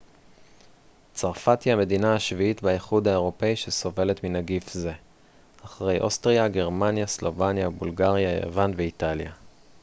צרפת היא המדינה השביעית באיחוד האירופי שסובלת מנגיף זה אחרי אוסטריה גרמניה סלובניה בולגריה יוון ואיטליה